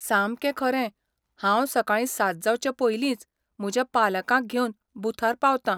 सामकें खरें, हांव सकाळीं सात जावचें पयलींच म्हज्या पालकांक घेवन बुथार पावता.